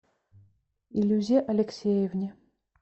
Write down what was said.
илюзе алексеевне